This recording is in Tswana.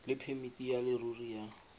le phemiti ya leruri ya